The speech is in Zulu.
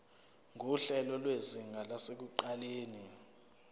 nguhlelo lwezinga lasekuqaleni